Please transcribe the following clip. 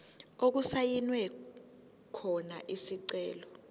okusayinwe khona isicelo